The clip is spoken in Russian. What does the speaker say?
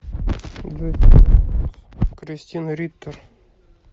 кристен риттер